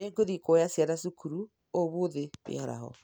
Nĩ ngũthiĩ kũũoya ciana cukuru ũmũthĩ mĩaraho